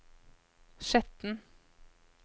Skjetten